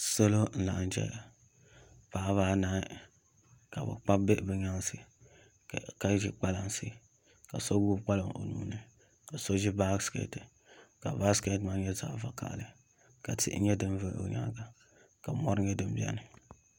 Salo n laɣam chɛna paɣaba anahi ka bi kpabi bihi bi nyaansi ka ʒi kpalansi ka so gbubi kpalaŋ o nuuni ka so ʒi baskɛt ka baskɛt maa nyɛ zaɣ vakaɣali ka tihi nyɛ din gari o nyaanga ka mori nyɛ din biɛni